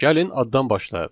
Gəlin addan başlayaq.